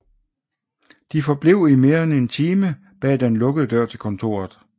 De forblev i mere end en time bag den lukkede dør til kontoret